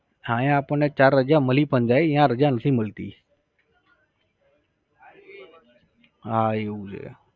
હા અહિયાં આપણને ચાર રજા મલી પણ જાય, ત્યાં રજા નથી મળતી. હા એવું છે.